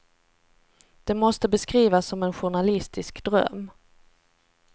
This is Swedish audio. Det måste beskrivas som en journalistisk dröm.